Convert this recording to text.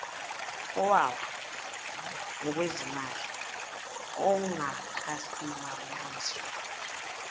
owawa ngokwezimali ongakasimamiswa